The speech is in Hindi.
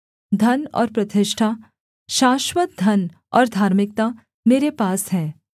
धन और प्रतिष्ठा शाश्‍वत धन और धार्मिकता मेरे पास हैं